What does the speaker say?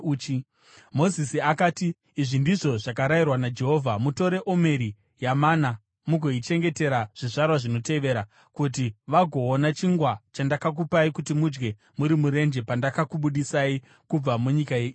Mozisi akati, “Izvi ndizvo zvakarayirwa naJehovha, ‘Mutore omeri yemana mugoichengetera zvizvarwa zvinotevera, kuti vagoona chingwa chandakakupai kuti mudye muri murenje pandakakubudisai kubva munyika yeIjipiti.’ ”